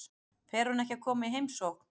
Fer hún ekki að koma í heimsókn?